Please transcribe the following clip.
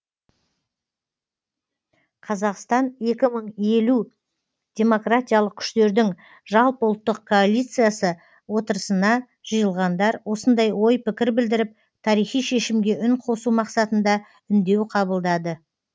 қазақстан екі мың елу демократиялық күштердің жалпыұлттық коалициясы отырысына жиылғандар осындай ой пікір білдіріп тарихи шешімге үн қосу мақсатында үндеу қабылдады